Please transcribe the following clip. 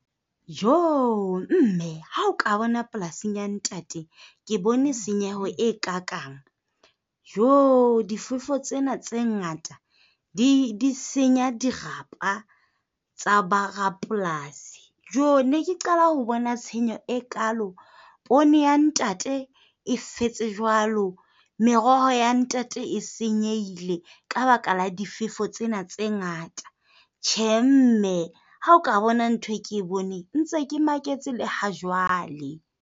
Joo! Mme, ha o ka bona polasing ya ntate, ke bone tshenyeho e kakaang. Joo! Difefo tsena tse ngata di senya dirapa tsa borapolasi. Joo! Ne ke qala ho bona tshenyo e kaalo. Poone ya ntate e fetse jwalo. Meroho ya ntate e senyehile ka baka la difefo tsena tse ngata. Tjhe, mme, ha o ka bona ntho e ke boneng. Ke ntse ke maketse le ha jwale.